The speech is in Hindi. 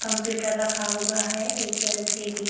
कंप्यूटर रखा हुआ है एक एल.सी.डी. --